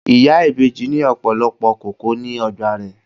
Ìyá ìbejì ní ọ̀pọ̀lọpọ̀ kókò ní ọgbà rè.